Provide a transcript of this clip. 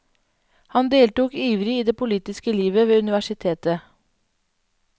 Han deltok ivrig i det politiske livet ved universitetet.